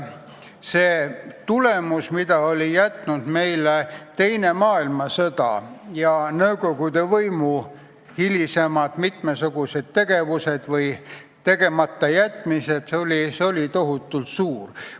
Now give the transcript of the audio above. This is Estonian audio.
See kahju, mille oli tekitanud teine maailmasõda ja nõukogude võimu mitmesugune hilisem tegevus või tegematajätmine, oli tohutult suur.